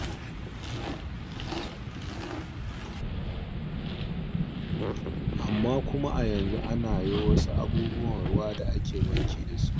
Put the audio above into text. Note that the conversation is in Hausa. Amma kuma a yanzu ana yo wasu abubuwan ruwa da ake wanki da su.